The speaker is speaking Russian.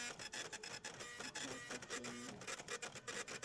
включай кофейня